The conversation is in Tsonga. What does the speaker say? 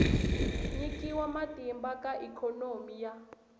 nyikiwa matimba ka ikhonomi ya